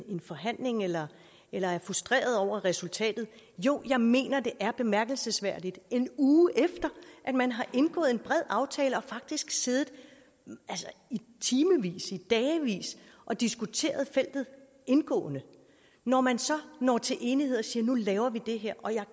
en forhandling eller eller er frustreret over resultatet jo jeg mener det er bemærkelsesværdigt en uge efter at man har indgået en bred aftale og faktisk siddet i timevis i dagevis og diskuteret feltet indgående når man så til enighed og siger at nu laver vi det her og jeg